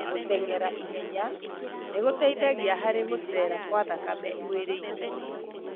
Gũtengera ihenya nĩ gũteithagia harĩ gũcera kwa thakame mwĩrĩinĩ.